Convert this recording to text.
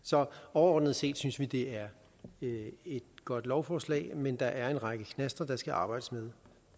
overordnet set synes vi det er et godt lovforslag men der er en række knaster der skal arbejdes med